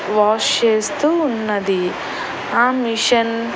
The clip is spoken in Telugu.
వాష్ చేస్తూ ఉన్నది ఆ మిషన్ --